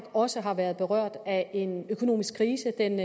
også har været berørt af en økonomisk krise den